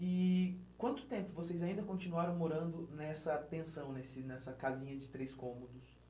E quanto tempo vocês ainda continuaram morando nessa pensão, nesse nessa casinha de três cômodos?